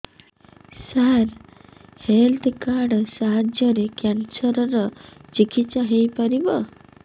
ସାର health card ସାହାଯ୍ୟରେ cancer ର ଚିକିତ୍ସା ହେଇପାରିବ